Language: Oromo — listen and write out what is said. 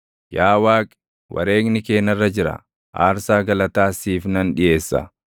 Yaa Waaqi wareegni kee narra jira; aarsaa galataas siif nan dhiʼeessa.